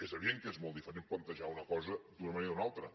és evident que és molt diferent plantejar una co sa d’una manera o una altra